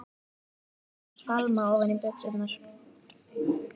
Hendur hans fálma ofan í buxurnar.